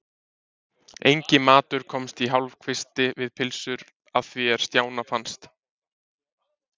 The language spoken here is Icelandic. Enginn matur komst í hálfkvisti við pylsur að því er Stjána fannst.